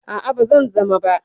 A'a, ba zan zama ba.